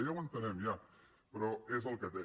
ja ho entenem ja però és el que té